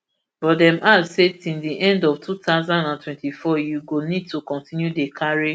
but dem add say till di end of two thousand and twenty-four you go need to continue dey carry